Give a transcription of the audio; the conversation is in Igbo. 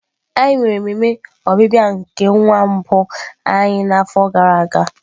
Anyị mere ememe ọbịbịa nke nwa mbụ anyị n'afọ gara aga.